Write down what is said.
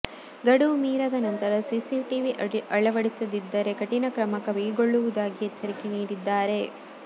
ಗಡುವು ಮೀರದ ನಂತರ ಸಿಸಿಟಿವಿ ಆಳವಡಿಸದಿದ್ದರೆ ಕಠಿಣ ಕ್ರಮ ಕೈಗೊಳ್ಳುವುದಾಗಿ ಎಚ್ಚರಿಕೆ ನೀಡಿದ್ದಾರೆ